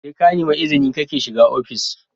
SE kanemi izini kake shiga ofishi